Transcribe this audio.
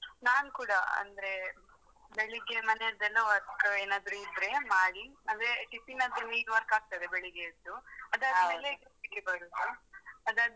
ನಾನ್ ಕೂಡ ಅಂದ್ರೇ, ಬೆಳಿಗ್ಗೆ ಮನೆಯದ್ದೇನು work ಏನಾದ್ರು ಇದ್ರೆ ಮಾಡಿ ಅಂದ್ರೆ tiffin ದ್ದು main work ಆಗ್ತದೆ ಬೆಳಿಗ್ಗೆಯೆದ್ದು. ಅದಾದ್ಮೇಲೆ duty ಗೆ ಬರುದು ಅದಾದ್ಮೇಲೆ.